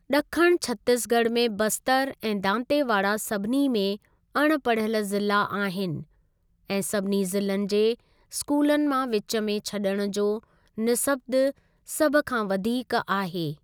ॾखणु छत्तीसगढ़ में बस्तर ऐं दांतेवाड़ा सभिनी में अण पढ़ियल ज़िला आहिनि ऐं सभिनि ज़िलनि जे स्कूलनि मां विच में छॾण जो निस्बत सभ खां वधीक आहे।